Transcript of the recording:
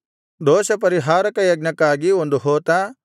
ದೋಷಪರಿಹಾರಕ ಯಜ್ಞಕ್ಕಾಗಿ ಒಂದು ಹೋತ